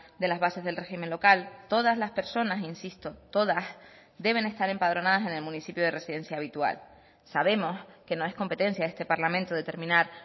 de las bases del régimen local todas las personas insisto todas deben estar empadronadas en el municipio de residencia habitual sabemos que no es competencia de este parlamento determinar